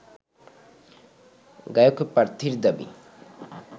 গায়ক প্রার্থীর দাবি